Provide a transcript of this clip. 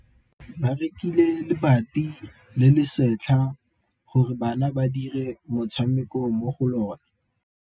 Ba rekile lebati le le setlha gore bana ba dire motshameko mo go lona.